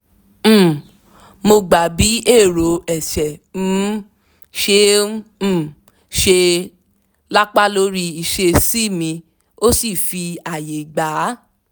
um mo gba bi èrò ẹ̀ṣẹ̀ um ṣe um ṣe lapa lórí ìṣesí mi ó sì fi ààyè gba